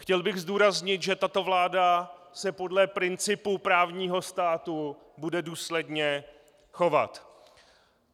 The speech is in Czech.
Chtěl bych zdůraznit, že tato vláda se podle principů právního státu bude důsledně chovat.